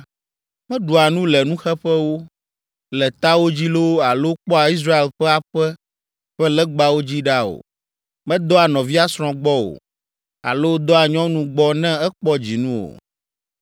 Meɖua nu le nuxeƒewo, le tawo dzi loo alo kpɔa Israel ƒe aƒe ƒe legbawo dzi ɖa o. Medɔa nɔvia srɔ̃ gbɔ o. Alo dɔa nyɔnu gbɔ ne ekpɔ dzinu o.